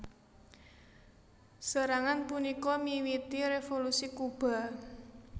Serangan punika miwiti Revolusi Kuba